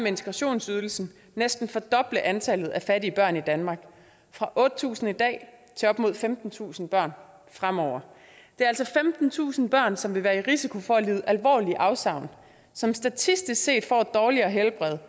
integrationsydelsen næsten fordoble antallet af fattige børn i danmark fra otte tusind i dag til op mod femtentusind børn fremover det er altså femtentusind børn som vil være i risiko for at lide alvorlige afsavn som statistisk set får et dårligere helbred